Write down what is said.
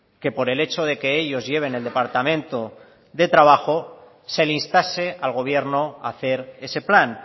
que por el hecho de que ellos lleven el departamento de trabajo se le instase al gobierno a hacer ese plan